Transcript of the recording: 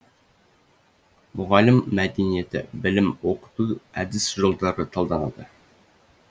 мұғалім мәдениеті білім оқыту әдіс жолдары талданады